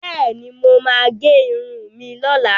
Bẹ́ẹ̀ni, mo máa gẹ irun mi lọ́la.